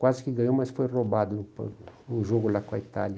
Quase que ganhou, mas foi roubado no jogo lá com a Itália.